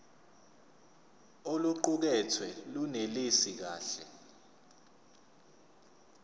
oluqukethwe lunelisi kahle